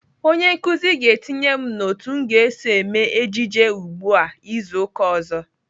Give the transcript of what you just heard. Onye nkụzi ga-etinye m n'otu m ga-eso eme ejije ugbu a izu uka ọzọ.